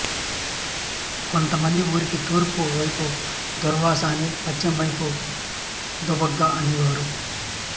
కొత్త మంది ఊరికి తూర్పు వైపు దుర్వాస అని పశ్చిమ వైపు దుబ్బాక అనే వారు